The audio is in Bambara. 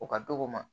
O ka dɔgɔ ma